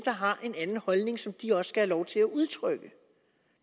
har en anden holdning som de også skal have lov til at udtrykke